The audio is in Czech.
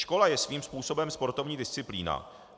Škola je svým způsobem sportovní disciplína.